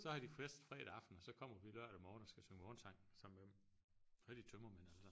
Så har de fest fredag aften og så kommer vi lørdag morgen og skal synge morgensang sammen med dem så har de tømmermænd allesammen